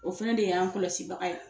O fana de ye y'an kɔlɔsibaga ye